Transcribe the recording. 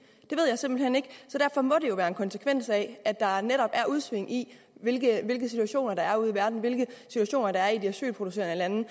det ved jeg simpelt hen ikke så derfor må det jo være en konsekvens af at der netop er udsving i hvilke situationer der er ude i verden hvilke situationer der er i de asylproducerende